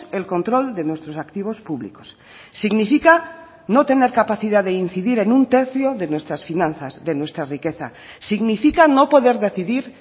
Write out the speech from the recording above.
el control de nuestros activos públicos significa no tener capacidad de incidir en un tercio de nuestras finanzas de nuestra riqueza significa no poder decidir